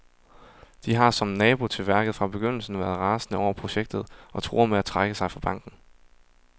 De har, som nabo til værket, fra begyndelsen været rasende over projektet og truer med at trække sig fra banken.